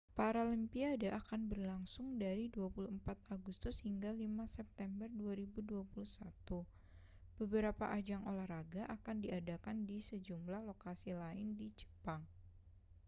paralimpiade akan berlangsung dari 24 agustus hingga 5 september 2021 beberapa ajang olahraga akan diadakan di sejumlah lokasi lain di jepang